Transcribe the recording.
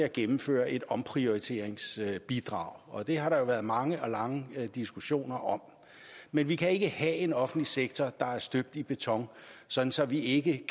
at gennemføre et omprioriteringsbidrag og det har der været mange og lange diskussioner om men vi kan ikke have en offentlig sektor der er støbt i beton sådan så vi ikke